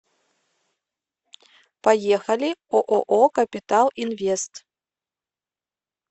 поехали ооо капитал инвест